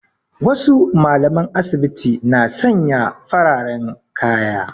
Wasu mallaman asibiti na sanya fararen kaya